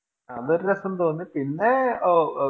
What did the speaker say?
അതൊരു ഒരു രസം തോന്നി പിന്നെ